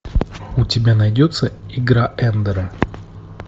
у тебя найдется игра эндера